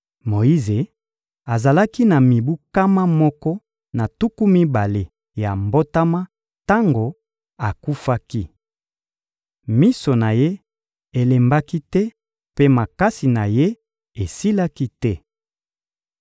Moyize azalaki na mibu nkama moko na tuku mibale ya mbotama tango akufaki. Miso na ye elembaki te mpe makasi na ye esilaki te.